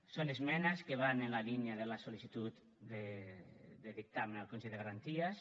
són esmenes que van en la línia de la sol·licitud de dictamen al consell de garanties